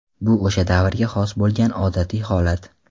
Bu o‘sha davrga xos bo‘lgan odatiy holat.